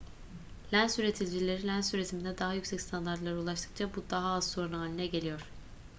lens üreticileri lens üretiminde daha yüksek standartlara ulaştıkça bu daha az sorun haline geliyor